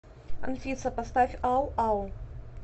афина поставь ау ау